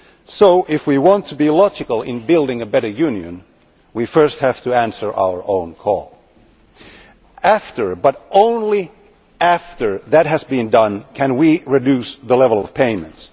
So, if we want to be logical in building a better Union, we first have to answer our own call. After, but only after, that has been done, can we reduce the level of payments.